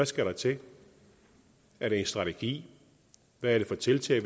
skal til er det en strategi hvilke tiltag